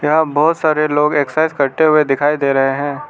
यहाँ बहोत सारे लोग एक्सरसाइज करते हुए दिखाई दे रहे हैं।